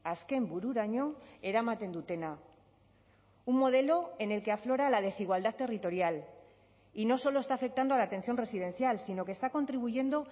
azken bururaino eramaten dutena un modelo en el que aflora la desigualdad territorial y no solo está afectando a la atención residencial sino que está contribuyendo